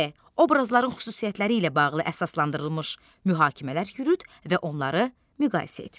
D. Obrazların xüsusiyyətləri ilə bağlı əsaslandırılmış mühakimələr yürüt və onları müqayisə et.